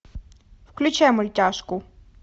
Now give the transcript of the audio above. включай мультяшку